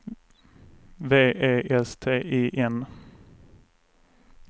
V E S T I N